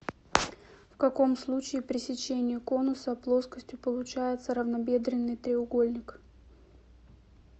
в каком случае при сечении конуса плоскостью получается равнобедренный треугольник